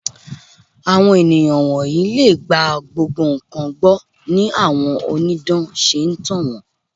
Àwọn ènìyàn wọ̀nyí lè gba gbogbo nǹkan gbọ́ ni àwọn onídán ṣe ń tàn wón.